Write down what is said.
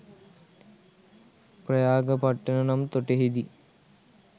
ප්‍රයාගපට්ටන නම් තොටෙහි දී